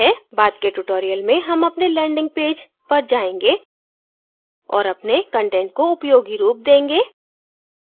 बाद के tutorials में हम अपने landing पेज पर जायेंगे और अपने कंटेंट को उपयोगी रूप देंगे